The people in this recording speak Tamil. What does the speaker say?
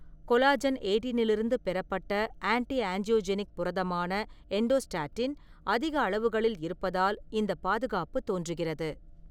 கொலாஜன் எயிட்டினிலிருந்து பெறப்பட்ட ஆன்ட்டி-ஆஞ்சியோஜெனிக் புரதமான எண்டோஸ்டாட்டின் அதிக அளவுகளில் இருப்பதால் இந்தப் பாதுகாப்பு தோன்றுகிறது.